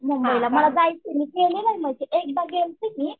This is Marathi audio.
मुंबईला मला जायचं आहे मी गेलेले नाही एकदा गेलते मी